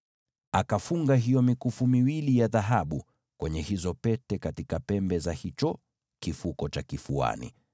Akafunga hiyo mikufu miwili ya dhahabu kwenye hizo pete katika pembe za hicho kifuko cha kifuani,